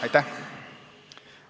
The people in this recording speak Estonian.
Aitäh!